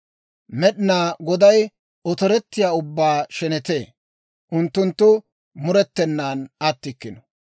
Med'inaa Goday otorettiyaa ubbaa shenetee; unttunttu murettenan attikkino.